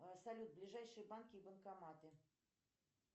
салют ближайшие банки и банкоматы